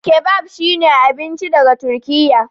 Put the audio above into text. Kebab shine abinci daga Turkiyya.